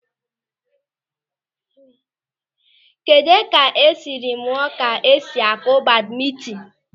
Kedụ ka ị sịrị mụọ ka esi akụ badmintin?